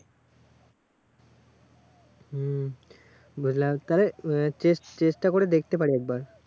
হুম্ বুঝলাম তাহলে আহ চেস চেষ্টা করে দেখতে পারি একবার।